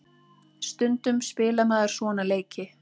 Stundum spilar maður svona leiki.